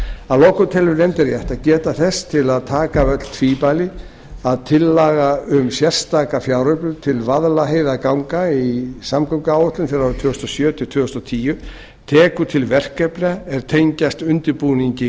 að lokum telur nefndin rétt að geta þess til að taka af öll tvímæli að tillaga um sérstaka fjáröflun til vaðlaheiðarganga í samgönguáætlun fyrir árin tvö þúsund og sjö til tvö þúsund og tíu tekur til verkefna er tengjast undirbúningi